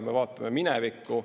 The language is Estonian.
Me vaatame minevikku.